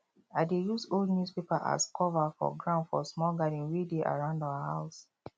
i dey use old newspaper as cover for ground for small garden wey dey around house